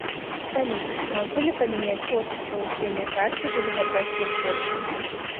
салют могу ли поменять офис получения карты или забрать ее позже